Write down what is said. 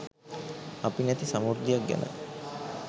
අපි නැති සමුර්දියක් ගැන